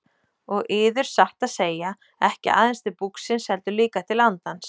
Og yður satt að segja, ekki aðeins til búksins heldur líka til andans.